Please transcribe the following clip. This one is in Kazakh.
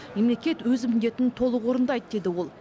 мемлекет өз міндетін толық орындайды деді ол